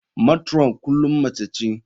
Matron kullum mace ce.